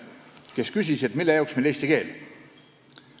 Kõige pikem küsis, mille jaoks meile eesti keel.